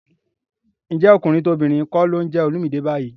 Ǹjẹ́ tọkùnrin tobìnrin kọ́ ló ń jẹ Olumide báyìí?